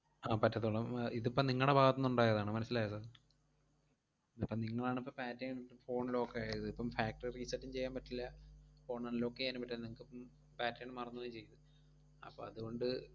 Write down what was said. ആഹ് പറ്റത്തൊള്ളൂ ഉം ഇതിപ്പം നിങ്ങടെ ഭാഗത്തുനിന്ന് ഉണ്ടായതാണ്, മനസ്സിലായോ sir? ഇതിപ്പം നിങ്ങളാണിപ്പം pattern ഇട്ട് phone lock ആയത്. ഇപ്പം factory reset ഉം ചെയ്യാൻ പറ്റില്ല phone unlock ചെയ്യാനും പറ്റാതെ നിങ്ങക്കിപ്പം pattern മറന്നു പോവേം ചെയ്തു. അപ്പം അതുകൊണ്ട്,